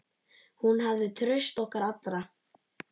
Hún hafði traust okkar allra.